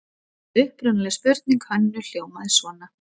Upprunaleg spurning Hönnu hljómaði svona: